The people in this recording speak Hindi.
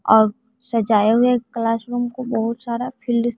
और सजाए हुए क्लास रूम को बहुत सारा फील्ड --